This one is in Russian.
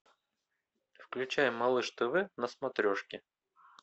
включай малыш тв на смотрешке